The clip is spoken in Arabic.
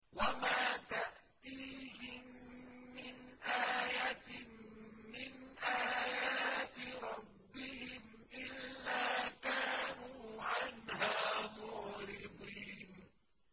وَمَا تَأْتِيهِم مِّنْ آيَةٍ مِّنْ آيَاتِ رَبِّهِمْ إِلَّا كَانُوا عَنْهَا مُعْرِضِينَ